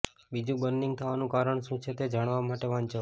બીજું બર્નિંગ થવાનું કારણ શું છે તે જાણવા માટે વાંચો